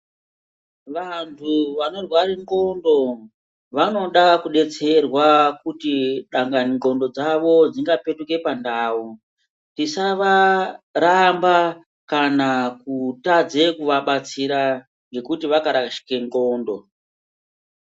Vantu vanorware ndxondo vanoda kudetserwa kuti dangani ndxondo dzavo dzingapetuke pandau tisavaramba kana kutadze kuvabatsira ngekuti vakarashike ndxondo.